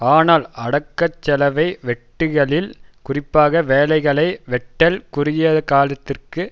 ஆனால் அடக்கச்செலவை வெட்டுகையில் குறிப்பாக வேலைகளை வெட்டல் குறுகியகாலத்திற்கு